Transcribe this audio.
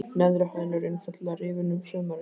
Neðri hæðin er einfaldlega rifin um sumarið.